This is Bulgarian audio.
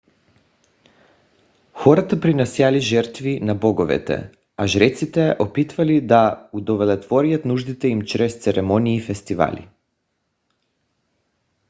хората принасяли жертви на боговете а жреците опитвали да удовлетворят нуждите им чрез церемонии и фестивали